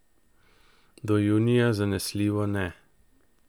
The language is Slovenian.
Do junija zanesljivo ne.